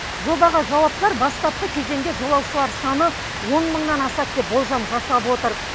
жобаға жауаптылар бастапқы кезеңде жолаушылар саны он мыңнан асады деп болжам жасап отыр